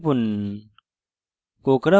enter টিপুন